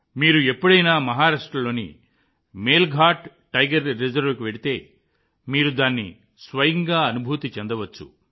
మీరు ఎప్పుడైనా మహారాష్ట్రలోని మేల్ఘాట్ టైగర్ రిజర్వ్కి వెళ్తే మీరు దాన్ని స్వయంగా అనుభూతి చెందవచ్చు